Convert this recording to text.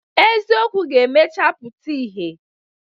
Eziokwu ga-emecha pụta ihe.